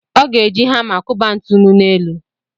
Ọ ga-eji hama kụba ntụnụ n'elu.